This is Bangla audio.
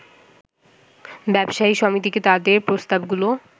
ব্যবসায়ী সমিতিকে তাদের প্রস্তাবগুলো